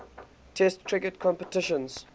test cricket competitions